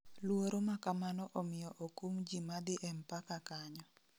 Luoro makamano omiyo okum ji madhi e mpaka kanyo